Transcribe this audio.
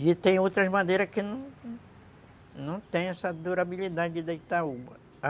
E tem outras madeiras que não tem essa durabilidade da Itaúba.